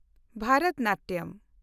Bharatanatyam